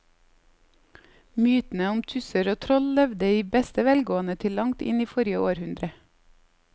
Mytene om tusser og troll levde i beste velgående til langt inn i forrige århundre.